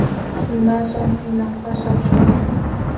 Shundan so‘ng qiynoqqa solishmagan.